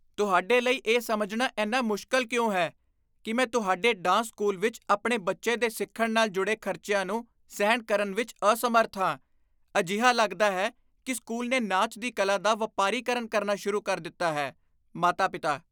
ਤੁਹਾਡੇ ਲਈ ਇਹ ਸਮਝਣਾ ਇੰਨਾ ਮੁਸ਼ਕਲ ਕਿਉਂ ਹੈ ਕੀ ਮੈਂ ਤੁਹਾਡੇ ਡਾਂਸ ਸਕੂਲ ਵਿੱਚ ਆਪਣੇ ਬੱਚੇ ਦੇ ਸਿੱਖਣ ਨਾਲ ਜੁੜੇ ਖ਼ਰਚਿਆਂ ਨੂੰ ਸਹਿਣ ਕਰਨ ਵਿੱਚ ਅਸਮਰੱਥ ਹਾਂ? ਅਜਿਹਾ ਲੱਗਦਾ ਹੈ ਕੀ ਸਕੂਲ ਨੇ ਨਾਚ ਦੀ ਕਲਾ ਦਾ ਵਪਾਰੀਕਰਨ ਕਰਨਾ ਸ਼ੁਰੂ ਕਰ ਦਿੱਤਾ ਹੈ ਮਾਤਾ ਪਿਤਾ